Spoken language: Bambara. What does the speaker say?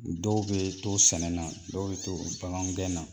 Dɔw bɛ to sɛnɛ na dɔw bɛ to bagangɛn na